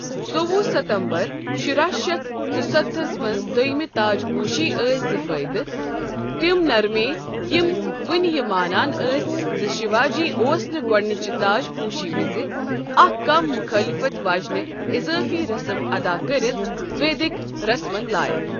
ژووُہ ستمبر شراہ شیتھ ژُستتھس منٛز دوٚیِمہِ تاج پوٗشی ٲسۍ زٕ فٲیدٕ، تِم نرمییہ یم وٕنہِ یہِ مانان ٲسۍ زِ شوا جی اوس نہٕ گوڈنِچہِ تاج پوٗشی وِز، اكھ كم مخٲِلفت واجینہِ اِضٲفی رسم ادا كرِتھ ،ویدِک رسمن لایكھ ۔